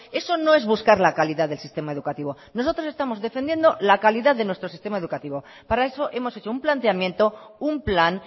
eso no es buscar la calidad del sistema educativo nosotros estamos defendiendo la calidad de nuestro sistema educativo para eso hemos hecho un planteamiento un plan